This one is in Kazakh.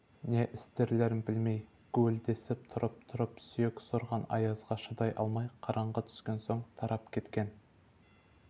не істерлерін білмей гуілдесіп тұрып-тұрып сүйек сорған аязға шыдай алмай қараңғы түскен соң тарап кеткен